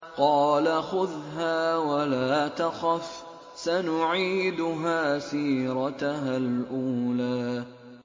قَالَ خُذْهَا وَلَا تَخَفْ ۖ سَنُعِيدُهَا سِيرَتَهَا الْأُولَىٰ